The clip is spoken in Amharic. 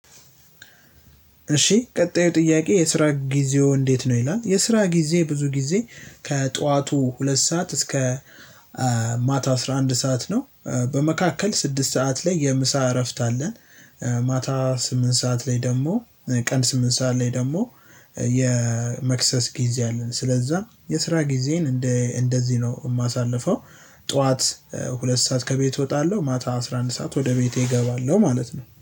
እሺ ቀጣዩ ጥያቄ የስራ ጊዜው እንዴት ነው ይላል የስራ ጊዜ ብዙ ጊዜ ከጠዋቱ ሁለት ሰዓት እስከ ማታ አስራ አንድ ሰዓት ነው። በመካከል ስድስት ሰዓት ላይ የምሳ እረፍት አለን። ማታ ስምንት ሰዓት ላይ ደግሞ ቀን ስምንት ሰዓት ላይ ደግሞ የመክሰስ ጊዜ አለን ስለዛ የስራ ጊዜን እንደ እንደዚህ ነው የማሳልፈው። ጠዋት ሁለት ሰዓት ከቤት እወጣለሁ ማታ አስራ አንድ ሰዓት ወደ ቤቴ እገባለሁ። ማለት ነው